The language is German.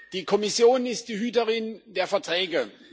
Die Kommission ist die Hüterin der Verträge.